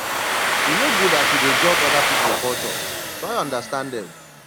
e no good as you dey judge oda pipo culture try understand dem